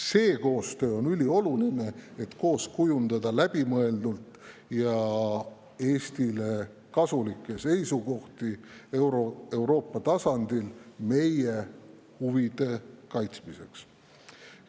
See koostöö on ülioluline, et kujundada koos läbimõeldud ja Eestile kasulikke seisukohti meie huvide kaitsmiseks Euroopa tasandil.